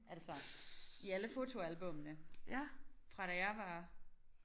Altså i alle fotoalbummene fra da jeg var